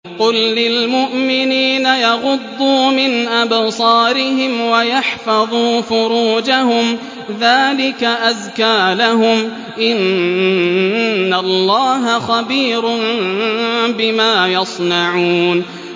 قُل لِّلْمُؤْمِنِينَ يَغُضُّوا مِنْ أَبْصَارِهِمْ وَيَحْفَظُوا فُرُوجَهُمْ ۚ ذَٰلِكَ أَزْكَىٰ لَهُمْ ۗ إِنَّ اللَّهَ خَبِيرٌ بِمَا يَصْنَعُونَ